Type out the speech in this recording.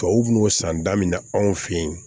Tubabu n'o san da min na anw fe yen